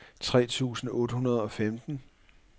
tres tusind otte hundrede og femten